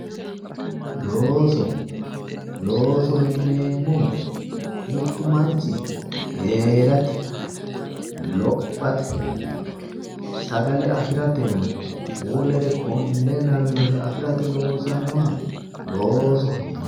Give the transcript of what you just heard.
looso loosoho yineemmohu mittu manchi heerate, lophate sagale afiratenna wolere konne lawinore afirate loosannoha loosoho yinanni.